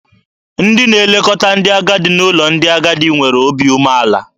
Ndị na-elekọta ndị agadi n'ụlọ ndị agadi nwere obi umeala.